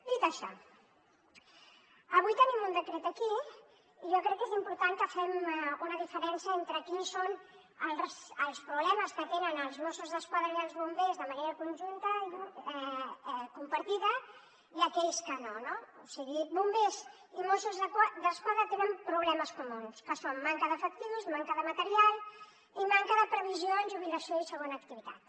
dit això avui tenim un decret aquí i jo crec que és important que fem una diferència entre quins són els problemes que tenen els mossos d’esquadra i els bombers de manera conjunta i compartida i aquells que no no o sigui bombers i mossos d’esquadra tenen problemes comuns que són manca d’efectius manca de material i manca de previsió en jubilació i segona activitat